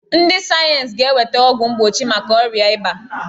Ndị sayeensị ga-eweta ọgwụ mgbochi maka ọrịa ịba.